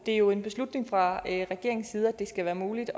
det er jo en beslutning fra regeringens side at det skal være muligt